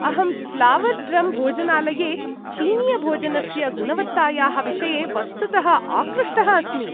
अहं Flower Drum भोजनालये चीनीयभोजनस्य गुणवत्तायाः विषये वस्तुतः आकृष्टः अस्मि।